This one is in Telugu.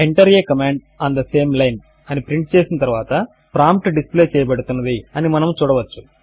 enter a command on the same line అని ప్రింట్ చేసిన తరువాత ప్రాంప్ట్ డిస్ప్లే చేయబడుతున్నది అని మనము చూడవచ్చు